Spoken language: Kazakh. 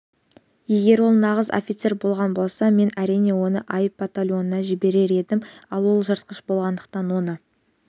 егер ол нағыз офицер болған болса мен әрине оны айып батальонына жіберер едім ал ол жыртқыш болғандықтан оны